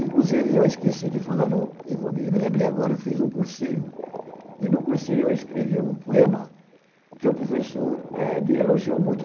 Inclusive, eu esqueci de falar, não e vou e me lembrei agora, eu fiz um cursinho e, no cursinho, eu escrevi um poema que o professor é elogiou muito.